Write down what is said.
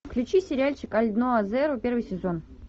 включи сериальчик альдноа зеро первый сезон